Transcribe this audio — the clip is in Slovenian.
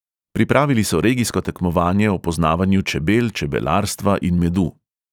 Pripravili so regijsko tekmovanje o poznavanju čebel, čebelarstva in medu.